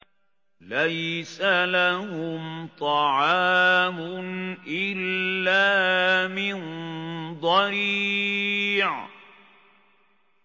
لَّيْسَ لَهُمْ طَعَامٌ إِلَّا مِن ضَرِيعٍ